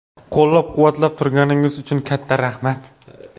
Qo‘llab-quvvatlab turganingiz uchun katta rahmat!